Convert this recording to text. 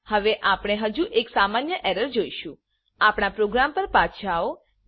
હવે આપણે હજુ એક સામાન્ય એરર જોઈશું આપણા પ્રોગ્રામ પર પાછા આવો